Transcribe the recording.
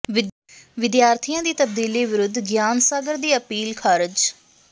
ਵਿਦਿਆਰਥੀਆਂ ਦੀ ਤਬਦੀਲੀ ਵਿਰੁੱਧ ਗਿਆਨ ਸਾਗਰ ਦੀ ਅਪੀਲ ਖ਼ਾਰਜ